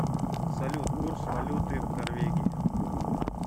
салют курс валюты в норвегии